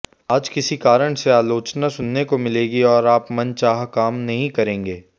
आज किसी कारण से आलोचना सुनने को मिलेगी और आप मनचाह काम नहीं करेंगे